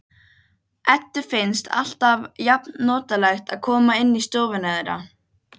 Eddu finnst alltaf jafnnotalegt að koma inn í stofuna þeirra.